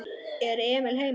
Er Emil heima?